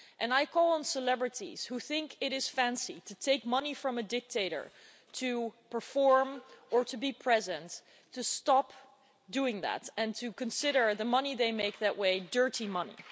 I call on celebrities who think it is fancy to take money from a dictator to perform or to be present to stop doing that and to consider the money they make that way dirty money.